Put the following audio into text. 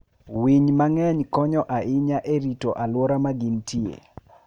Winy mang'eny konyo ahinya e rito alwora ma gintie.